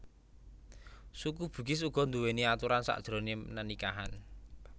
Suku Bugis uga nduwèni aturan sajroné nenikahan